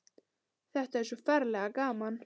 Þetta er svo ferlega gaman.